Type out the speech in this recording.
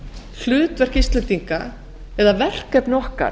hlutverk íslendinga eða verkefni okkar